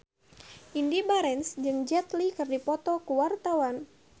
Indy Barens jeung Jet Li keur dipoto ku wartawan